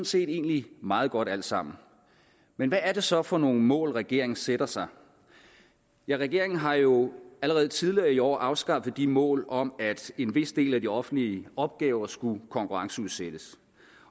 set egentlig meget godt alt sammen men hvad er det så for nogle mål regeringen sætter sig ja regeringen har jo allerede tidligere i år afskaffet de mål om at en vis del af de offentlige opgaver skulle konkurrenceudsættes